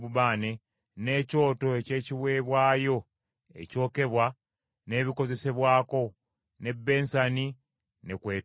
n’ekyoto eky’ekiweebwayo ekyokebwa n’ebikozesebwako, n’ebbensani ne kw’etuula.